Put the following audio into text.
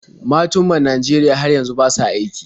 Matun man Najeriya har yanzu ba sa aiki.